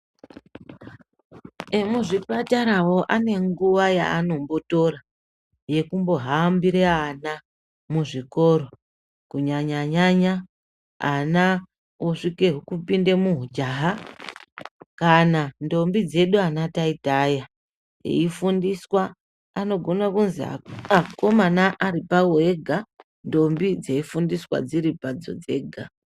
Emuzvipatarawo ane nguwa yaanombotora yekuhambire ana muzvikora kunyanyanya ana osvike zvekupinde muhujaha kana ntombi dzedu ana taita aya kana eifundiswe anogona kuzwi akomana aripawo ega ntombi dzeifundiswa dziripadzo dzega.